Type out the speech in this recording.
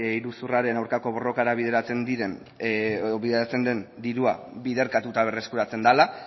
iruzurraren aurkako borrokara bideratzen den dirua biderkatuta berreskuratzen dela